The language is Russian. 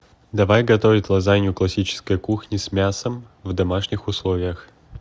давай готовить лазанью классической кухни с мясом в домашних условиях